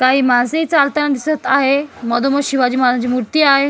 काही माणसे चालताना दिसत आहे मधोमध शिवाजी महाराजांची मुर्ती आहे.